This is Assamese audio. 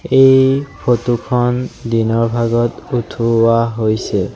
এইখন ফটো খন দিনৰ ভাগত উঠোৱা হৈছে।